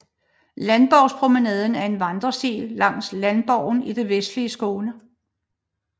Landborgspromenaden er en vandresti langs Landborgen i det vestlige Skåne